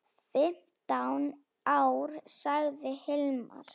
Fimmtán ár, sagði Hilmar.